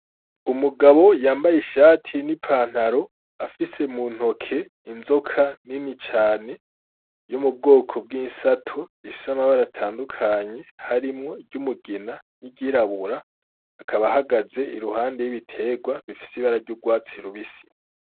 Umugabo yambaye ishati n'ipantaro afise mu ntoki inzoka nini cane yo mu bwoko bw'isato ifise amabara atandukanye harimwo iry'umugina, iryirabura akaba ahagaze iruhande y'ibitegwa bifise ibara ry'urwatsi rubisi.